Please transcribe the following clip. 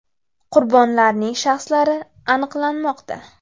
Qurbonlarning shaxslari aniqlanmoqda.